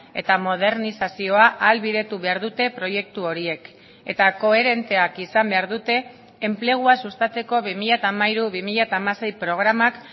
eta modernizazioa ahalbidetu behar dute proiektu horiek eta koherenteak izan behar dute enplegua sustatzeko bi mila hamairu bi mila hamasei programak